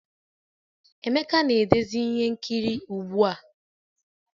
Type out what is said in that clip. Emeka na-edezi ihe nkiri ugbu a